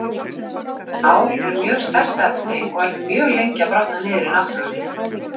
Ál er mjög sterkt efni og er því mjög lengi að brotna niður í náttúrunni.